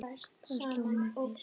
Það sló mig fyrst.